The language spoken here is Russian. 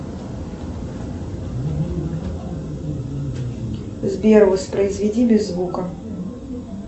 сбер воспроизведи без звука